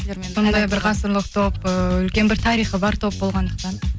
сондай бір ғасырлық топ ііі үлкен бір тарихы бар топ болғандықтан